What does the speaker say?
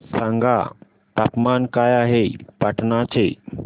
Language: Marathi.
सांगा तापमान काय आहे पाटणा चे